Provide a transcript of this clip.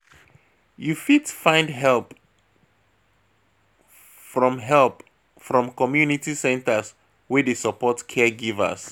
You fit find help from help from community centres wey dey support caregivers